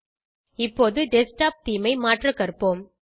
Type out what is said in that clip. இப்போது desktop theme ஐ மாற்ற கற்போம்